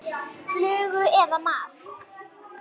Flugu eða maðk.